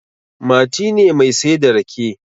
Mati ne mai saida rake